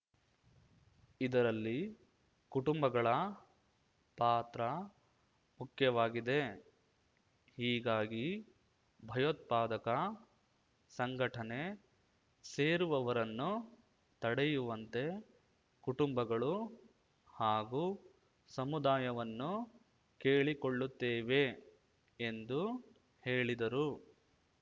ಇದರಲ್ಲಿ ಕುಟುಂಬಗಳ ಪಾತ್ರ ಮುಖ್ಯವಾಗಿದೆ ಹೀಗಾಗಿ ಭಯೋತ್ಪಾದಕ ಸಂಘಟನೆ ಸೇರುವವರನ್ನು ತಡೆಯುವಂತೆ ಕುಟುಂಬಗಳು ಹಾಗೂ ಸಮುದಾಯವನ್ನು ಕೇಳಿಕೊಳ್ಳುತ್ತೇವೆ ಎಂದು ಹೇಳಿದರು